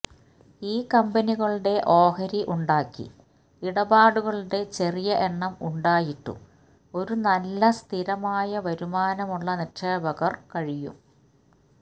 ഈ കമ്പനികളുടെ ഓഹരി ഉണ്ടാക്കി ഇടപാടുകളുടെ ചെറിയ എണ്ണം ഉണ്ടായിട്ടും ഒരു നല്ല സ്ഥിരമായ വരുമാനമുള്ള നിക്ഷേപകര് കഴിയും